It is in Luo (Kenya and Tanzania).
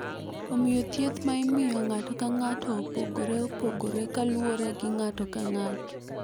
Omiyo, thieth ma imiyo ng’ato ka ng’ato opogore opogore kaluwore gi ng’ato ka ng’ato.